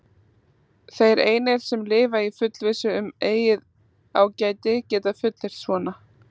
Þeir einir, sem lifa í fullvissu um eigið ágæti, geta fullyrt svona.